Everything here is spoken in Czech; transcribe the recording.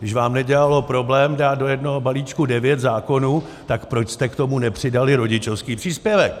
Když vám nedělalo problém dát do jednoho balíčku devět zákonů, tak proč jste k tomu nepřidali rodičovský příspěvek?